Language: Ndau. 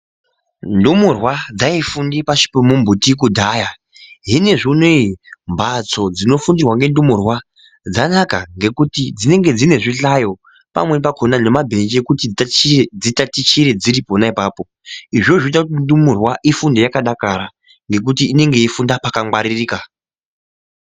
Ndumurwa dzaifunde pashi pemumbuti kudhaya zvinezvi unowu mhatso dzinofundirwa ngendumurwa dzanaka ngekuti dzinenge dzine zvihlayo pamweni pakhona nemabhenji ekuti dzitachiye dzitatichire dziri pona ipapo izvozvo zvinoite kuti ndumurwa ifunde yakadakara ngekuti inenge yeifunda pakangwaririka.